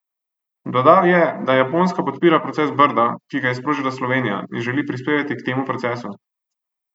Dodal je, da Japonska podpira proces Brdo, ki ga je sprožila Slovenija, in želi prispevati k temu procesu.